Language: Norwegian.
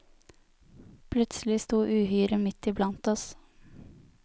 Plutselig sto uhyret midt iblant oss.